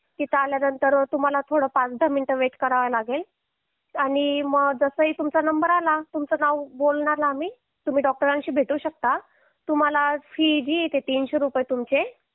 तिथे आल्यानंतर तुम्हाला थोडं पाच दहा मिनिटे वेट करावे लागेल आणि जसं तुमचा नंबर आला तुमचं नाव बोलणार आम्ही आणि तुम्ही डॉक्टरांशी भेटू शकता तुम्हाला फि जी आहे ती तीनशे रुपये तुमचे